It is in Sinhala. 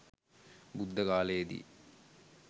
බුද්ධ කාලයේ දී